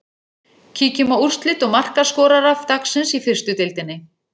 Kíkjum á úrslit og markaskorara dagsins í fyrstu deildinni.